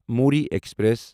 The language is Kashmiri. موری ایکسپریس